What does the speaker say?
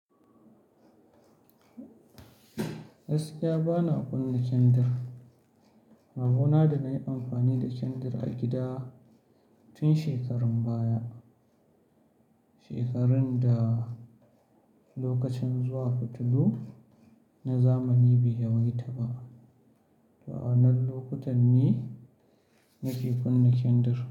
Gaskiya bana kunna kendir. Rabo na da na yi amfani da kendir a gida tun shekarun baya, shekarun da lokacin zuwa fitilu na zamani bai yawaita ba. To a wannan lokutan ne nake kunna kendir.